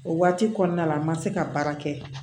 O waati kɔnɔna la n ma se ka baara kɛ